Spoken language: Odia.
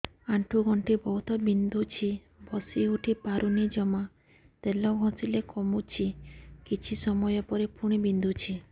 ଆଣ୍ଠୁଗଣ୍ଠି ବହୁତ ବିନ୍ଧୁଛି ବସିଉଠି ପାରୁନି ଜମା ତେଲ ଘଷିଲେ କମୁଛି କିଛି ସମୟ ପରେ ପୁଣି ବିନ୍ଧୁଛି